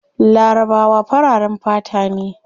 Larabawa fararen fata ne